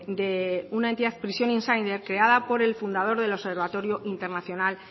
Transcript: de una entidad prison insider creada por el fundador del observatorio internacional